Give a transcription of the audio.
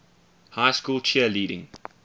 high school cheerleading